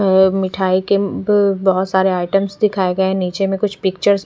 अ मिठाई के अम्म भ बहोत सारे आइटम दिखाए गये है निचे में कुछ पिक्चरस --